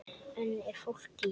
Enn er fólk í